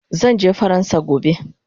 Zanje faransa gobe